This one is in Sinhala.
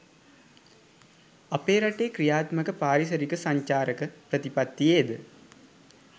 අප රටේ ක්‍රියාත්මක පාරිසරික සංචාරක ප්‍රතිපත්තියේ ද